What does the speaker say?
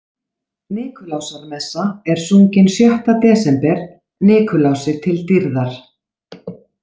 Nikulásarmessa er sungin sjöttö desember Nikulási til dýrðar.